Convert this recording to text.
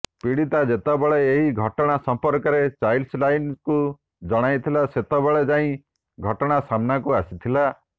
ପୀଡିତା ଯେତେବେଳେ ଏହି ଘଟଣା ସମ୍ପର୍କରେ ଚାଇଲ୍ଡ ଲାଇନ୍କୁ ଜଣାଇ ଥିଲା ସେତେବେଳେ ଯାଇ ଘଟଣା ସାମ୍ନାକୁ ଆସିଥିଲା